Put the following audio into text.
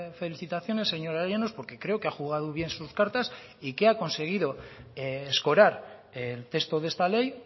felicitaciones señora llanos porque creo que ha jugado bien sus cartas y que ha conseguido escorar el texto de esta ley